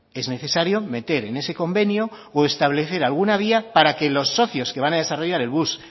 es necesario meter en ese convenio o establecer alguna vía para que los socios que van a desarrollar el bus